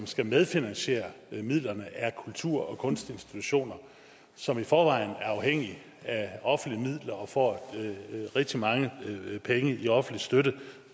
skal medfinansiere midlerne er kultur og kunstinstitutioner som i forvejen er afhængige af offentlige midler og får rigtig mange penge i offentlig støtte